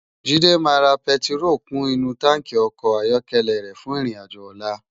Jide má rá pètiró kún inú tànkí òkò áyòkèlè rè fún irin àjó òlá